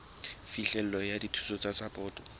phihlelo ya dithuso tsa sapoto